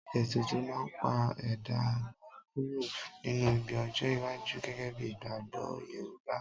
Ètùtù máa ń pa ẹ̀dá mọ kúrò nínú ibi ọjọ́-iwájú gẹ́gẹ́ bí ìgbàgbọ́ Yorùbá.